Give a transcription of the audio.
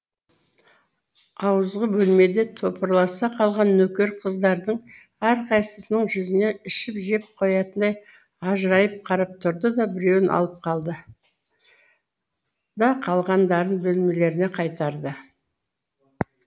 ауызғы бөлмеде топырласа қалған нөкер қыздардың әрқайсысының жүзіне ішіп жеп қоятындай ажырайып қарап тұрды да біреуін алып қалды да қалғандарын бөлмелеріне қайтарды